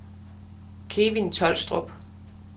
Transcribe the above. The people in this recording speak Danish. Kevin Tolstrup